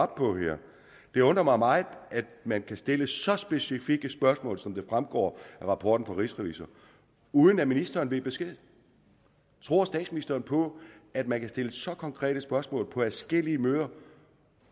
på her det undrer mig meget at man kan stille så specifikke spørgsmål som det fremgår af rapporten fra rigsrevisor uden at ministeren ved besked tror statsministeren på at man kan stille så konkrete spørgsmål på adskillige møder